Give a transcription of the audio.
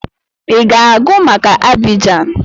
I ga-agụ maka Abidjan!